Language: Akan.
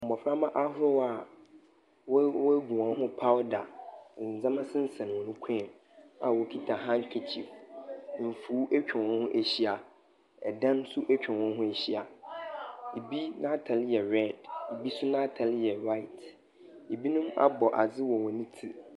Mboframba ahorow a woe weogu hɔn ho powder, ndzɛmba sensɛn hɔn kɔn mu a wokita kandkerchief. Mfuw etwa hɔn ho ehyia. Dan nso etwa hɔn ho ehyia. Bi n'atar yɛ red, bo nso n'atar yɛ white. Binom abɔ adze wɔ hɔn tsir.